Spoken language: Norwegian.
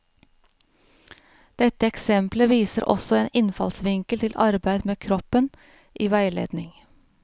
Dette eksemplet viser også en innfallsvinkel til arbeid med kroppen i veiledning.